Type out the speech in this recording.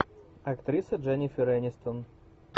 актриса дженнифер энистон